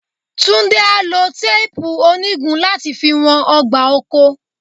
Túndé á lo téèpù onígun láti fi wọn ọgbà oko.